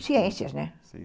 Ciências, né? Sim.